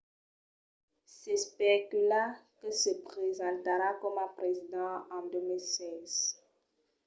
s’especula que se presentarà coma president en 2016